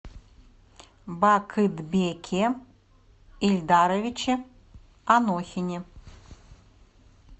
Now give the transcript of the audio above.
бакытбеке ильдаровиче анохине